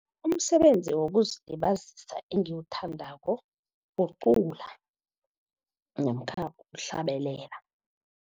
Umsebenzi wokuzilibazisa engiwuthandako, kucula namkha ukuhlabelela.